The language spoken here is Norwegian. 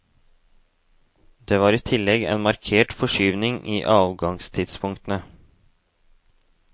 Det var i tillegg en markert forskyvning i avgangstidspunktene.